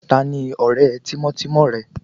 Ta ni ọ̀rẹ́ tímọ́tímọ́ rẹ?